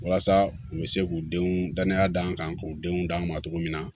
Walasa u bɛ se k'u denw danaya d'an kan k'u denw d'an ma cogo min na